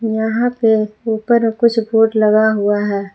यहां पे उप्पर कुछ बोर्ड लगा हुआ है।